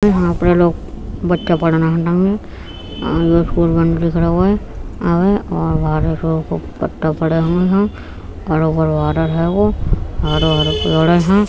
यहाँ आपने लोग बच्चा पढ़ने और ये स्कूल बंद दिख रो हैं आगे पत्ता पड़े हुए हैं हरो- हरो | हरो -हरो पेड़ हैं।